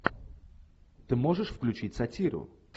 ты можешь включить сатиру